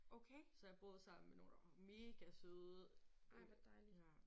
Okay. Ej hvor dejligt